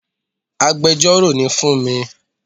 Agbẹjọ́rò ni fúnmi